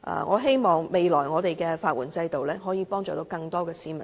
我希望未來的法援制度可以幫助更多市民爭取司法公義。